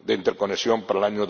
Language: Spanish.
de interconexión para el año